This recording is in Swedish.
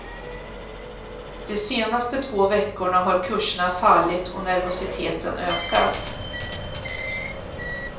De senaste två veckorna har kurserna fallit och nervositeten ökat.